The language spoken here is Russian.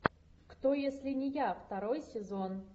кто если не я второй сезон